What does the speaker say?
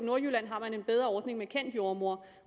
i nordjylland har en bedre ordning med en kendt jordemoder